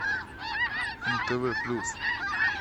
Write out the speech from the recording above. нтв плюс